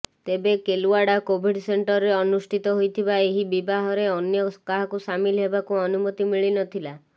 ତେବେ କେଲୱାଡା କୋଭିଡ ସେଣ୍ଟରରେ ଅନୁଷ୍ଠିତ ହୋଇଥିବା ଏହି ବିବାହରେ ଅନ୍ୟ କାହାକୁ ସାମିଲ ହେବାକୁ ଅନୁମତି ମିଳିନଥିଲା